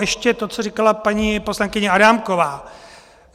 Ještě to, co říkala paní poslankyně Adámková.